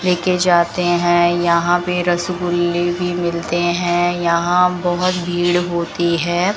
लेके जाते हैं यहां पे रसगुल्ले भी मिलते हैं यहां बहोत भीड़ होती है।